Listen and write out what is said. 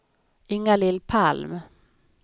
Inga-Lill Palm